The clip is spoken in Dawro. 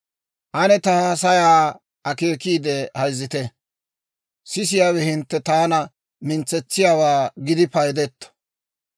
«Ane ta haasayaa akeekiide hayzzite; sisiyaawe hintte taana mintsetsiyaawaa gidi paydetto.